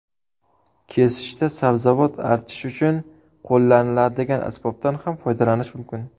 Kesishda sabzavot archish uchun qo‘llaniladigan asbobdan ham foydalanish mumkin.